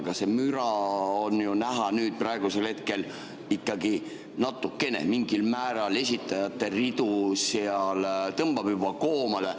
Aga see müra, nüüd, praegusel hetkel on ju näha, ikkagi mingil määral esitajate ridu tõmbab juba koomale.